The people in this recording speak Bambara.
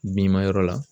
Bin ma yɔrɔ la